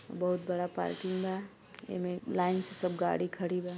बहुत बड़ा पार्किंग बा एमे लाइन से सब गाड़ी खड़ी बा।